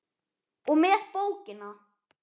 og með bókina!